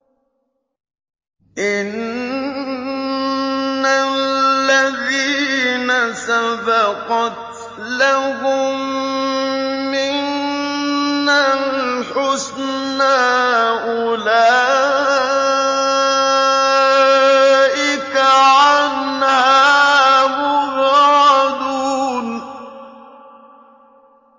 إِنَّ الَّذِينَ سَبَقَتْ لَهُم مِّنَّا الْحُسْنَىٰ أُولَٰئِكَ عَنْهَا مُبْعَدُونَ